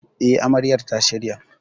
E, Amaryar ta shirya.